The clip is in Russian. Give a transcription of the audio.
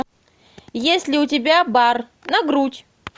есть ли у тебя бар на грудь